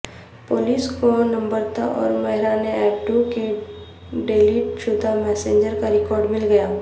police کو نمرتا اور مہران ابڑو کے ڈیلیٹ شدہ میسجز کا ریکارڈ مل گیا